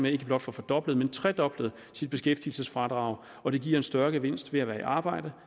ikke blot få fordoblet men tredoblet sit beskæftigelsesfradrag og det giver en større gevinst ved at være i arbejde